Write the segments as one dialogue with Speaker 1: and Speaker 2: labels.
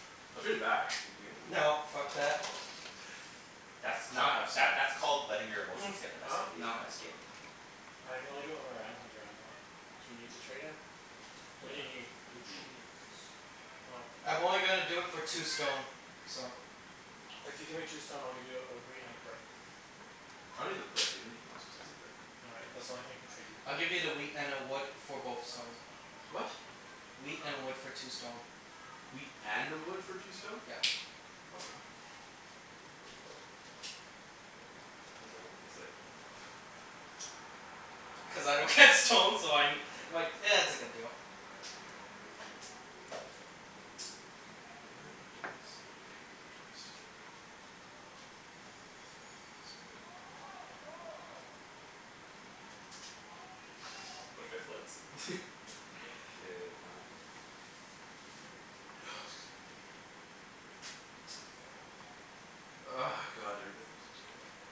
Speaker 1: I'll trade it back if you gimme the wheat.
Speaker 2: No, fuck that.
Speaker 3: That's
Speaker 1: Now
Speaker 3: called,
Speaker 1: I have
Speaker 3: that
Speaker 1: stone.
Speaker 3: that's called letting your emotions get the best
Speaker 4: Huh?
Speaker 3: of you
Speaker 1: Now I
Speaker 3: in
Speaker 1: have
Speaker 3: this
Speaker 1: stone.
Speaker 3: game.
Speaker 4: I can only do it when my round comes around, though. Do you need to trade it? What
Speaker 1: Yeah.
Speaker 4: do you need?
Speaker 1: I need
Speaker 3: Don't show
Speaker 1: wheat.
Speaker 3: me your cards.
Speaker 4: Oh.
Speaker 2: I'm only gonna do it for two stone. So
Speaker 4: If you give me two stone I'll give you a wheat and a brick.
Speaker 1: I don't need the brick. Do you have anything else besides the brick?
Speaker 4: No, I, that's the only thing I can trade you.
Speaker 2: I'll give you the wheat and a wood for both stone.
Speaker 1: What?
Speaker 2: Wheat and wood for two stone.
Speaker 1: Wheat and a wood for two stone?
Speaker 2: Yep.
Speaker 1: Okay, I'm done. Those are the only things that I don't have.
Speaker 2: Cuz I don't get stone so I ne- I'm like, it's a good deal.
Speaker 1: Am I about to waste it? Yeah, I'm about to waste it. Pass a card?
Speaker 3: What if I flipped?
Speaker 1: K, I'm Ah, excuse me. God, I don't really need to do anything.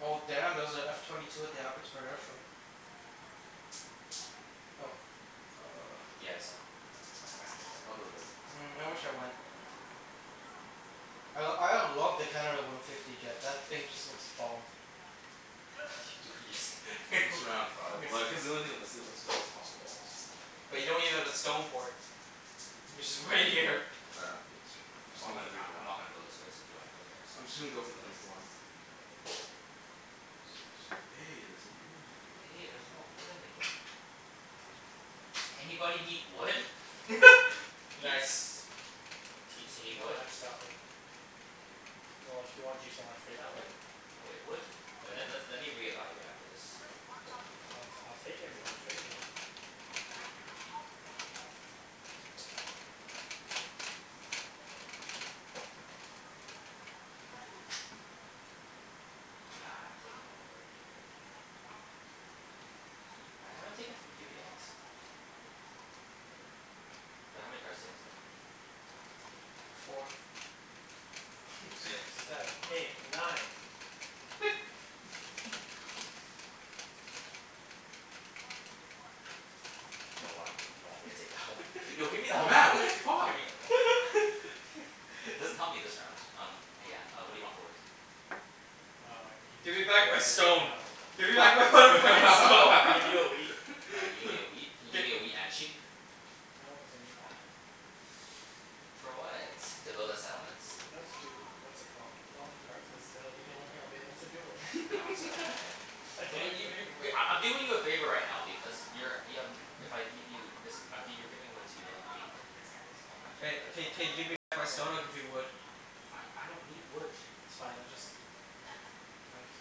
Speaker 2: Oh damn, there's a F twenty two at the Abbotsford Air Show.
Speaker 1: Okay.
Speaker 2: Yo.
Speaker 1: Uh
Speaker 3: Yeah, I saw. My friend was there.
Speaker 1: I'll build it.
Speaker 2: Mm,
Speaker 1: Why
Speaker 2: I
Speaker 1: not?
Speaker 2: wish I went. I l- I love the Canada one fifty jet. That thing just looks bomb.
Speaker 3: What you do-
Speaker 1: Just around five. Like cuz the only thing, that's the onl- that's the best possible odds.
Speaker 2: But you don't even have a stone port. Which
Speaker 1: Hmm?
Speaker 2: is right here.
Speaker 1: I don't need the stone port. I'm
Speaker 3: I'm
Speaker 1: just
Speaker 3: not
Speaker 1: gonna go for
Speaker 3: gonna,
Speaker 1: three
Speaker 3: I
Speaker 1: for
Speaker 3: I'm
Speaker 1: one.
Speaker 3: not gonna go this way, so if you wanna go there
Speaker 1: I'm just gonna
Speaker 3: you
Speaker 1: go for
Speaker 3: can
Speaker 1: the three
Speaker 3: go.
Speaker 1: for one. Six. Hey, there's a wood in the game now.
Speaker 3: Hey, there's more wood in the game. Anybody need wood? Ibs?
Speaker 2: Nice.
Speaker 3: Ibs, you
Speaker 4: Even
Speaker 3: need
Speaker 4: though
Speaker 3: wood?
Speaker 4: I just got wood.
Speaker 3: K, well
Speaker 4: Well, if you want, do you still wanna trade that wood?
Speaker 3: Wait, wood? Wait, let's
Speaker 4: Yeah?
Speaker 3: let me reevaluate after this.
Speaker 4: I'll t- I'll take it if you wanna trade it.
Speaker 3: Nah, I've taken from you already. I haven't taken from you yet. But how many cards do you guys have?
Speaker 1: Three.
Speaker 2: Four.
Speaker 4: Five six seven eight nine.
Speaker 3: You don't want me, you don't want me to take that one? Yo, give me that one.
Speaker 1: Mat! What the
Speaker 3: Give
Speaker 1: fuck?
Speaker 3: me that one. It doesn't help me this round. Um, uh yeah, uh what do you want for wood?
Speaker 4: Um, I can give you
Speaker 2: Give me
Speaker 4: the,
Speaker 2: back my stone.
Speaker 4: no.
Speaker 2: Give me back my mother fucking
Speaker 4: I
Speaker 2: stone.
Speaker 4: can give you a wheat.
Speaker 3: Uh, you give me a wheat? Can you give me a
Speaker 2: Gi-
Speaker 3: wheat and a sheep?
Speaker 4: No, cuz I need that.
Speaker 3: For what? To build a settlement?
Speaker 4: No, to do, what's it called? Development cards, cuz it'll be the only thing I'll be able to do later.
Speaker 3: No, sorry, I have
Speaker 4: I
Speaker 3: Come
Speaker 4: can't
Speaker 3: on,
Speaker 4: even
Speaker 3: you
Speaker 4: do
Speaker 3: you
Speaker 4: anything
Speaker 3: Okay,
Speaker 4: later.
Speaker 3: I I'm doing you a favor right now because you're y- um if I give you this um, g- you're giving away two. You'll have eight in your hands. Oh, actually,
Speaker 2: Hey,
Speaker 3: that doesn't
Speaker 2: k
Speaker 3: help
Speaker 2: k
Speaker 3: you
Speaker 4: That
Speaker 2: give me
Speaker 4: doesn't
Speaker 3: that much.
Speaker 2: back
Speaker 4: help
Speaker 2: my
Speaker 4: me
Speaker 2: stone, I'll give you
Speaker 4: that much.
Speaker 2: wood.
Speaker 3: I I don't need wood.
Speaker 4: It's fine, let just I just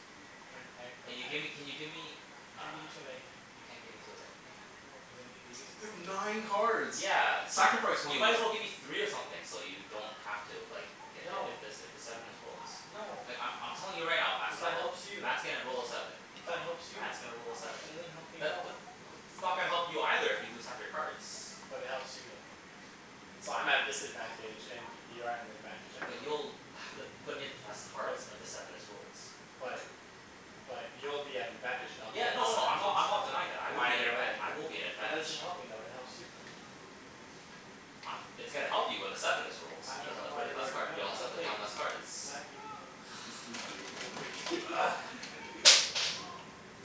Speaker 4: I n- I, like,
Speaker 3: Can you
Speaker 4: I
Speaker 3: gimme, can you give me
Speaker 4: I
Speaker 3: uh,
Speaker 4: can't give you two of anything.
Speaker 3: you can't give me two of anything?
Speaker 4: No, cuz I need to use these
Speaker 1: You have
Speaker 4: things.
Speaker 1: nine cards!
Speaker 3: Yeah.
Speaker 1: Sacrifice
Speaker 3: You
Speaker 1: one of
Speaker 3: might
Speaker 1: them.
Speaker 3: as well give me three of something so you don't have to like get if
Speaker 4: No.
Speaker 3: if the s- if the seven is rolled.
Speaker 4: No.
Speaker 3: Like, I'm I'm telling you right now, Mat's
Speaker 4: Cuz
Speaker 3: gonna
Speaker 4: that
Speaker 3: roll
Speaker 4: helps you.
Speaker 3: Mat's gonna roll a seven.
Speaker 4: But that helps you.
Speaker 3: Mat's gonna roll a seven.
Speaker 4: That doesn't help me at
Speaker 3: That the
Speaker 4: all.
Speaker 3: th- what that's not gonna help you either if you lose half your cards.
Speaker 4: But it helps you, though. So, I'm at a disadvantage and you're at an advantage either
Speaker 3: But
Speaker 4: way.
Speaker 3: you'll have to put in less
Speaker 4: But
Speaker 3: cards if the seven is rolled.
Speaker 4: But But you'll be at an advantage and I'll be
Speaker 3: Yeah,
Speaker 4: at a
Speaker 3: no no, I'm
Speaker 4: disadvantage.
Speaker 3: not, I'm not denying that. I will be in
Speaker 4: Either
Speaker 3: advantag-
Speaker 4: way.
Speaker 3: I will be in
Speaker 4: But that doesn't
Speaker 3: advantage.
Speaker 4: help me though. It helps you, though.
Speaker 3: I'm, it's gonna help you when the seven is rolled.
Speaker 4: I don't
Speaker 3: You'll have
Speaker 4: know
Speaker 3: to put
Speaker 4: why
Speaker 3: in less
Speaker 4: we're,
Speaker 3: card,
Speaker 4: no,
Speaker 3: you'll have
Speaker 4: it's
Speaker 3: to put
Speaker 4: okay.
Speaker 3: down less cards.
Speaker 4: Mat, you can go.
Speaker 1: This this is greatest thing ever.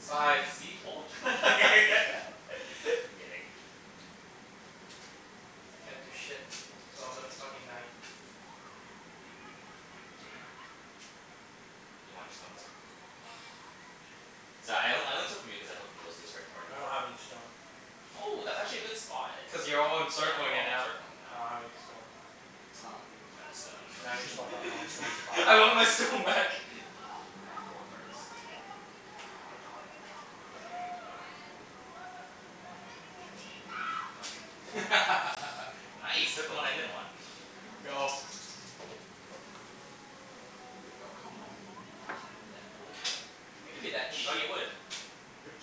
Speaker 3: Seven.
Speaker 2: Sive.
Speaker 3: See? Told y- I'm kidd- I'm kidding.
Speaker 2: Can't do shit, so I'm gonna fucking knight.
Speaker 1: Again?
Speaker 3: You want your stone back? Sorry, I on- I only took from you cuz I took from those two albr-
Speaker 4: I
Speaker 3: already.
Speaker 4: don't have any stone.
Speaker 3: Oh, that's actually a good spot.
Speaker 2: Cuz you're all
Speaker 3: Yeah, we're
Speaker 2: encircling it
Speaker 3: all
Speaker 2: now.
Speaker 3: encircling it
Speaker 4: I
Speaker 3: now.
Speaker 4: don't have any stone.
Speaker 1: I don't have any
Speaker 3: I have a
Speaker 1: stone.
Speaker 4: Now you just fucked up my only
Speaker 3: stone.
Speaker 4: stone supply.
Speaker 2: I want my stone back.
Speaker 3: I have four cards. Fuck. Nice! Took the one I didn't want.
Speaker 2: Go.
Speaker 1: Three. Oh, come on.
Speaker 2: Give me that wood.
Speaker 3: Hey
Speaker 2: Give me
Speaker 3: there's a,
Speaker 2: that
Speaker 3: hey, you got
Speaker 2: sheep.
Speaker 3: your wood.
Speaker 4: Yep.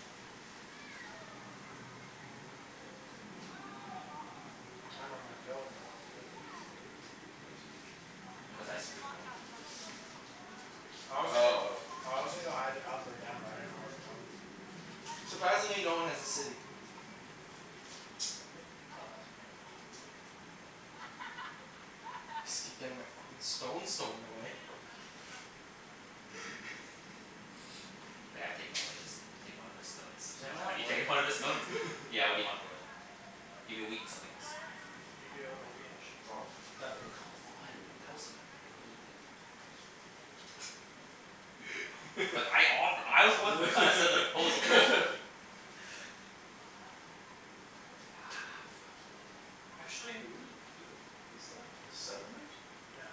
Speaker 4: I dunno where I'm gonna build, but I'll do it.
Speaker 1: What?
Speaker 3: Cuz I screwed him over with this.
Speaker 4: I was
Speaker 1: Oh, oh,
Speaker 4: gonna go
Speaker 1: oh.
Speaker 4: I was gonna go either up or down, but I didn't know where to go.
Speaker 2: Surprisingly, no one has a city.
Speaker 1: Yep.
Speaker 4: It's not that surprising.
Speaker 2: Just keep getting my fucking stone stolen away.
Speaker 3: taken one of his, now you take one of his stones.
Speaker 4: Does anyone have
Speaker 3: Have you
Speaker 4: wood?
Speaker 3: taken one of his stones? Yeah, what do you want for wood? Give me wheat and something else.
Speaker 4: I'll give you a wheat and a sheep.
Speaker 1: Oh, I'm done.
Speaker 2: Done.
Speaker 3: Come on, tell us, for me. But I offe- I was the one who kinda said the proposal.
Speaker 2: Ah, fuck. He did it.
Speaker 4: Actually
Speaker 1: Hey, what are you doing? Is that a settlement?
Speaker 4: Yeah.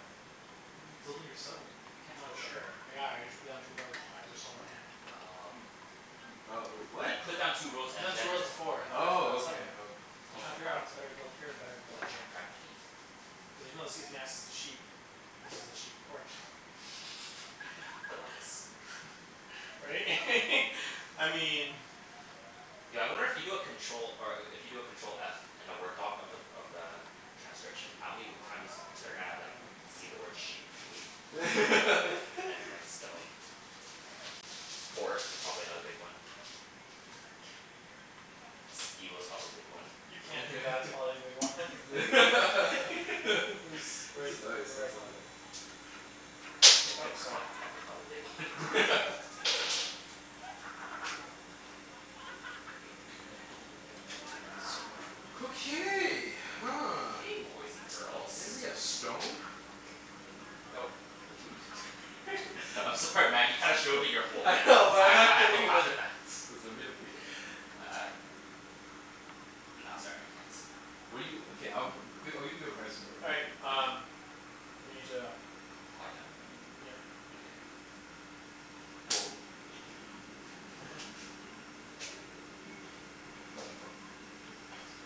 Speaker 3: A
Speaker 1: How are you
Speaker 3: what?
Speaker 1: building your settlement?
Speaker 3: You
Speaker 4: I'm
Speaker 3: can't
Speaker 4: not
Speaker 3: build
Speaker 4: sure.
Speaker 3: anywhere.
Speaker 4: Yeah, I just put down two roads, but I just sold my hand.
Speaker 3: Oh,
Speaker 1: You
Speaker 3: okay okay.
Speaker 1: You oh, wait. What?
Speaker 3: He put down two
Speaker 4: I
Speaker 3: roads
Speaker 4: put down
Speaker 3: and
Speaker 4: two
Speaker 3: then
Speaker 4: roads
Speaker 3: the set-
Speaker 4: before and now I'm building a
Speaker 1: Oh, okay.
Speaker 4: settlement.
Speaker 1: Okay.
Speaker 4: I'm
Speaker 3: I'm
Speaker 4: trying to
Speaker 3: sorry.
Speaker 4: figure out
Speaker 2: Oh.
Speaker 4: if it's better to build here or better to
Speaker 3: I was
Speaker 4: build
Speaker 3: trying
Speaker 4: here.
Speaker 3: to crack my knee.
Speaker 4: Cuz even though this gives me access to sheep this is a sheep port.
Speaker 3: Dilemmas.
Speaker 4: Right? I mean
Speaker 3: Yo, I wonder if you do a control, or a- if you do a control f in a Word doc of the of the transcription, how many w- times they're gonna like see the word sheep, wheat and like stone? Port is probably another big one. Steel is probably a big one.
Speaker 4: You can't do that, it's probably a big one.
Speaker 1: Where's
Speaker 4: He's, where's
Speaker 1: the
Speaker 4: the,
Speaker 1: dice? Oh,
Speaker 4: where,
Speaker 1: it's over
Speaker 4: oh
Speaker 1: there. Thank you.
Speaker 4: Oops,
Speaker 3: Fuck,
Speaker 4: sorry.
Speaker 3: fuck is probably a big one.
Speaker 1: Four. Dirk.
Speaker 2: Jerk. So much wood.
Speaker 1: Okay, huh.
Speaker 3: Okay, boys and girls.
Speaker 1: Anybody have stone?
Speaker 2: Nope.
Speaker 1: Or wheat?
Speaker 3: I'm sorry Mat, you kinda showed me your whole
Speaker 2: I
Speaker 3: hand
Speaker 2: know, but
Speaker 3: I
Speaker 2: I'm
Speaker 3: have I
Speaker 2: not
Speaker 3: have to
Speaker 2: giving him
Speaker 3: laugh
Speaker 2: any.
Speaker 3: at that.
Speaker 1: Does nobody have wheat?
Speaker 3: Uh No, sorry. I can't.
Speaker 1: What do you, okay, um, g- I'll give you a good price for it.
Speaker 4: All
Speaker 1: What do you
Speaker 4: right,
Speaker 1: need?
Speaker 4: um we need to
Speaker 3: Quiet down?
Speaker 4: Yep.
Speaker 3: Mkay. Well, we'll renegotiate after.
Speaker 1: Yeah.